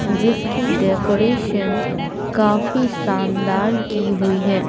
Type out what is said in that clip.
जिसकी डेकोरेशन काफी शानदार की हुई है।